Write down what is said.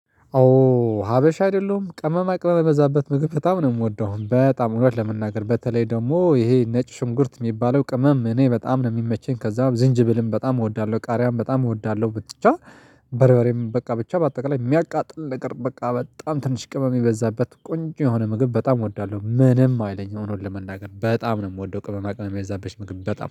ኦ ሀበሻ አይደለሁም ቅመማ ቅመም የበዛበት ምግብ በጣም ነው የምወደው በጣም እውነት ለመናገር በተለይ ደግሞ ይሄ ነጭ ሽንኩርት የሚባለው ቅመም እኔ በጣም ነው የሚመቸኝ ከዛ ዝንጅብልም በጣም እወዳለሁ ቃሪያም በጣም እወዳለሁ ብትቻ በርበሬም በቃ ብቻ በአጠቃላይ የሚያቃጥል ነገር በቃ በጣም ትንሽ ቅመም የበዛበት ቆንጆ የሆነ ምግብ በጣም እወዳለሁ። ምንም አይለኝም እውነት ለመናገር በጣም ነው የምወደው ቅመማ ቅመም የበዛበት ምግብ በጣም